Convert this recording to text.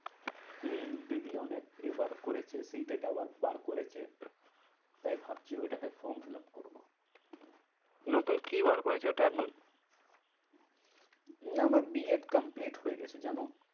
হম দিদি অনেক এ বার করেছে তিনটে tower বার করেছে। তাই ভাবছি ওইটা তে form fill up করবো। নতুন কি বার করেছে ওটা এখন? হম না আমার বি এড complete হয়ে গেছে জানো?